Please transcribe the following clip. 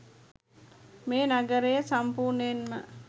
මේ නගරය සම්පූර්ණයෙන්ම